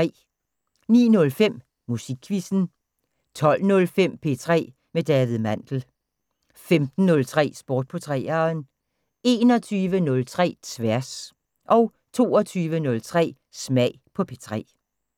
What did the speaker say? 09:05: Musikquizzen 12:05: P3 med David Mandel 15:03: Sport på 3'eren 21:03: Tværs 22:03: Smag på P3